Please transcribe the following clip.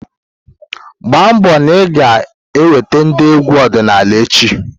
gbaa mbọ na ị ga-eweta ndị egwu ọdịnala echi!